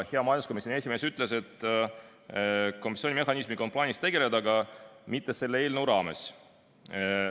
Hea majanduskomisjoni esimees ütles, et kompensatsioonimehhanismiga on küll plaanis tegeleda, aga mitte selle eelnõu raames.